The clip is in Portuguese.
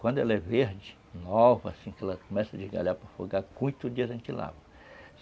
Quando ela é verde, nova, assim, que ela começa a desgalhar para folgar, com oito dias a gente lava.